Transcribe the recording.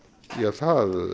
það